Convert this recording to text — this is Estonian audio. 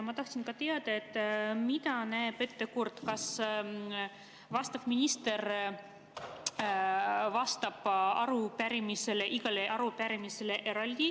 Ma tahtsin teada, mida näeb ette kord, kas vastav minister vastab igale arupärimisele eraldi.